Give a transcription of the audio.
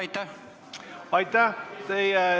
Aitäh!